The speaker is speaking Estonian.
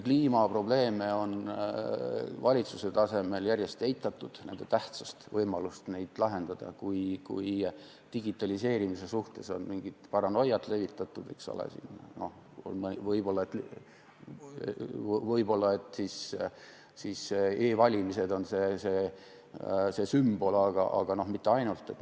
Kliimaprobleeme on valitsuse tasemel järjest eitatud, nende tähtsust ja võimalust neid lahendada, digitaliseerimise suhtes on mingit paranoiat levitatud, eks ole, võib-olla e-valimised on see sümbol, aga mitte ainult.